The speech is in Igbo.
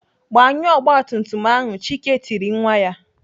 Gbanyụọ ọgbatumtum ahu!" Chike tiri nwa ya.